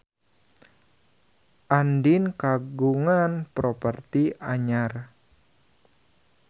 Andien kagungan properti anyar